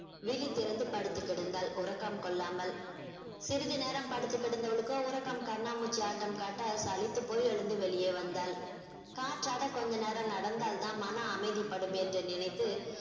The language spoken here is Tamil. விழி திறந்து படுத்து கிடந்தாள் உறக்கம் கொள்ளாமல் சிறிது நேரம் படுத்துக் கிடந்தவளுக்கோ உறக்கம் கண்ணாமூச்சி ஆட்டம் காட்ட சலித்து போய் எழுந்து வெளியே வந்தாள் காற்றாட கொஞ்ச நேரம் நடந்தால் தான் மன அமைதிபடும் என்று நினைத்து